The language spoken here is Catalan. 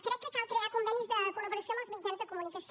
crec que cal crear convenis de col·laboració amb els mitjans de comunicació